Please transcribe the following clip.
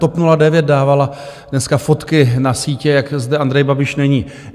TOP 09 dávala dneska fotky na sítě, jak zde Andrej Babiš není.